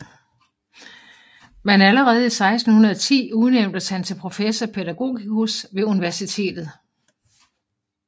Men allerede 1610 udnævntes han til professor pædagogicus ved universitetet